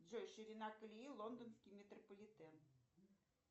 джой ширина колеи лондонский метрополитен